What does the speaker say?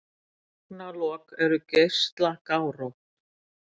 Tálknalok eru geislagárótt.